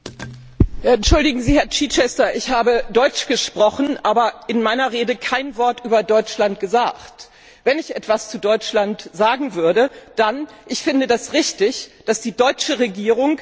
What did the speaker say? Entschuldigen Sie, Herr Chichester, ich habe Deutsch gesprochen, aber in meiner Rede kein Wort über Deutschland gesagt. Wenn ich etwas zu Deutschland sagen würde, dann dies Ich finde es richtig, dass die deutsche Regierung z.